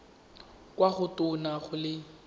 kwa go tona go le